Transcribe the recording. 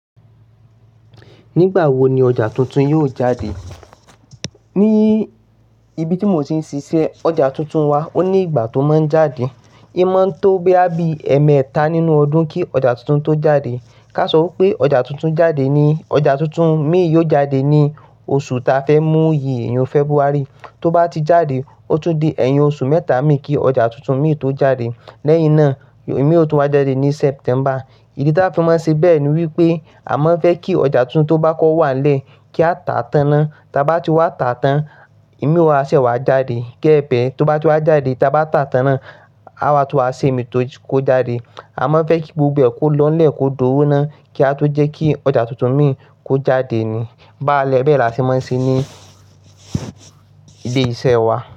Nígbà wo ni ọjà tuntun yóò jáde? Ní ibi tí mo ti ń ṣiṣẹ́, ọjà tuntun wa ó ní ìgbà tó máa ń jáde. Í máa ń tó bóyá bí i ẹẹ́mẹta nínú ọdún kí ọjà tuntun tó jáde. Ká sọ pé ọjà tuntun jáde ni-- ọjà tuntun mi yóò jáde ní oṣù ta fẹ́ mú yi, ẹyọ February. Tó bá ti jáde, ó tún di ẹyin oṣù mẹ́ta mìí kí ọjà tuntun mi tó jáde. Lẹ́yìn náà, ẹ̀mí òòtú wá jáde ní September. Ìdí tí a fi máa ń ṣe bẹ́ẹ̀ ni wípé a má fẹ́ kí ọjà tuntun tó bá kọ wá lẹ̀ kí a tà tán nán. Taa bá ti wá tà tán, ẹ̀mí o wa, ṣẹ́ wá jáde. Gebee to bá ti wá jáde, ta bá tà tán tán, á wá tún wa ṣe èmí tó kó jáde. A má n fẹ́ kí gbogbo ẹ kò lọ́ nlẹ̀ kó dowó naa kí a tó jẹ́ kí ọjà tuntun mi kó jáde ni. Báálẹ́ bẹ́ẹ̀ la ti máa ń ṣe ní ile iṣẹ́ wa.